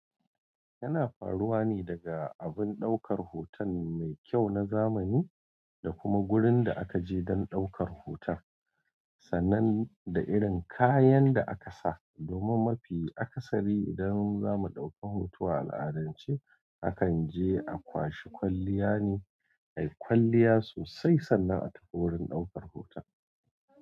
Yana faruwa ne daga abin ɗaukar hoton mai kyau na zamani da kuma wurin da aka je don ɗaukar hoton, sannan da irin kayan da aka sa. Domin mafi akasari idan za mu ɗauki hoto a al'adance, akan je a kwashi kwalliya ne. Ai, kwalliya sosai sannan a tafi wurin ɗaukar hoton.